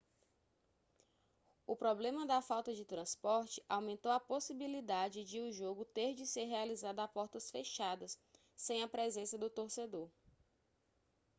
o problema da falta de transporte aumentou a possibilidade de o jogo ter de ser realizado a portas fechadas sem a presença do torcedor